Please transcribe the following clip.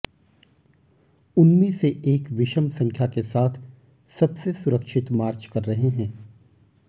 उनमें से एक विषम संख्या के साथ सबसे सुरक्षित मार्च कर रहे हैं